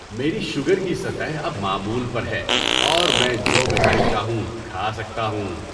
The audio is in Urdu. میری شوگر کی سطح اب معمول پر ہے اور میں جو میٹھائی چاہوں کھا سکتا ہوں۔